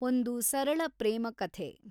ಒಂದು ಸರಳ ಪ್ರೇಮ ಕಥೆ